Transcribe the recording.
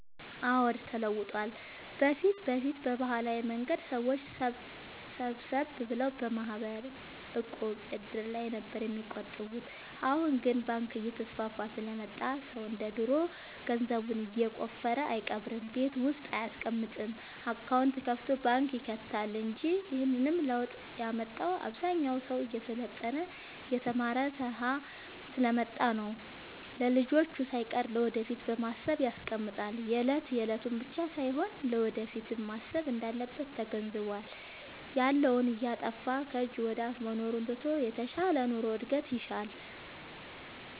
አዎድ ተለውጧል በፊት በፊት በባህላዊ መንገድ ሰዎች ሰብሰብ ብለው በማህበር፣ ዕቁብ፣ እድር ላይ ነበር የሚቆጥቡት አሁን ግን ባንክ እየተስፋፋ ስለመጣ ሰው እንደ ድሮ ገንዘቡን የቆፈረ አይቀብርም ቤት ውስጥ አይያስቀምጥም አካውንት ከፋቶ ባንክ ይከታል እንጂ ይህንንም ለውጥ ያመጣው አብዛኛው ሰው እየሰለጠነ የተማረ ስሐ ስለመጣ ነው። ለልጅቹ ሳይቀር ለወደፊት በማሰብ ያስቀምጣል የለት የለቱን ብቻ ሳይሆን ለወደፊቱም ማሰብ እንዳለበት ተገንዝቧል። ያለውን እያጠፋፋ ከጅ ወደአፋ መኖሩን ትቶ የተሻለ ኑሮ እድገት ይሻል።